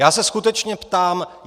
Já se skutečně ptám: